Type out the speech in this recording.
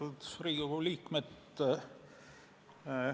Austatud Riigikogu liikmed!